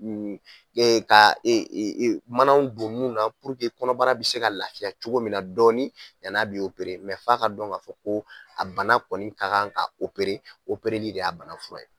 E Ka e e manaw don mun na kɔnɔbara bɛ se ka lafiya cogo min na dɔɔnin dɔɔnin yani a bɛ ooere mɛ yan'a ka dɔn k'a fɔ ko a bana kɔni ka kan ka opere o pereli de y'a bana fura ye.